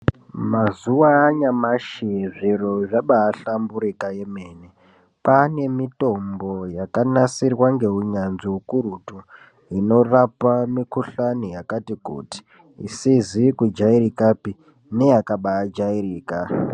Mazuwa anyamashi zviro zvabahlamburuka kwemene kwane mitombo yakanasirwa ngeunyanzvi ukurutu inorapa mikuhlani yakati kuti isizi kujairikapi neyakabajairika.